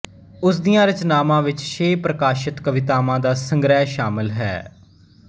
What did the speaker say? ਉਸ ਦੀਆਂ ਰਚਨਾਵਾਂ ਵਿੱਚ ਛੇ ਪ੍ਰਕਾਸ਼ਤ ਕਵਿਤਾਵਾਂ ਦਾ ਸੰਗ੍ਰਹਿ ਸ਼ਾਮਲ ਹੈ